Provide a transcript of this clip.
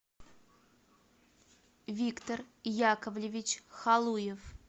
виктор яковлевич халуев